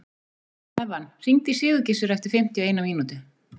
Evan, hringdu í Sigurgissur eftir fimmtíu og eina mínútur.